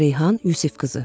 Reyhan Yusifqızı.